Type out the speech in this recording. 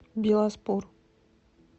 биласпур